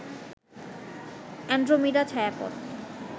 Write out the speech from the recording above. Andromeda ছায়াপথ